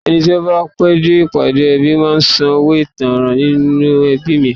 Ẹni tó bá pẹ́ dé ìpàdé ẹbí máa ń sanwó ìtanràn nínú ẹbí mi